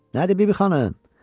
Nədir, Bibi xanım?